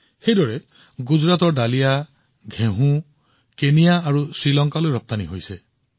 একেদৰে বালিয়া ঘেঁহুৰ প্ৰথম সামগ্ৰী গুজৰাটৰ পৰা কেনিয়া আৰু শ্ৰীলংকালৈ ৰপ্তানি কৰা হৈছিল